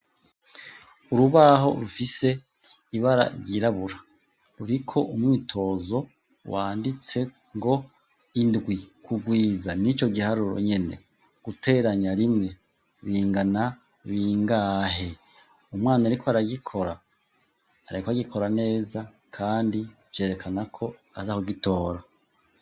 Urubaho rufise ibara ryirabura ruriko umywitozo wanditse ngo indwi kugwiza nico giharuro nyene guteranya rimwe bingana bingahe umwana ariko aragikora ariko agikora neza kandi vyerekana ko aza kugitora